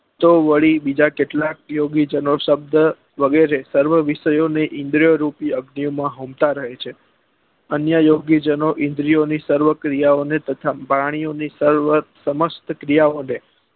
તો વડી બીજા કેટલાક યોગી જેનો શબ્દ વગરે સર્વ વિષયો ને ઈન્દ્રીઓ રૂપી અગ્નીઓ માં હોમતા રહે છે અન્ય યોગી જનો ઈન્દ્રીઓ ની સર્વ ક્રિયા ઓ ને તથા પ્રાણીઓ ની સર્વ સમસ્ત ક્રિયા ઓ ને